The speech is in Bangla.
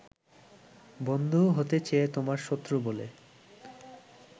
বন্ধু হতে চেয়ে তোমার শত্রু বলে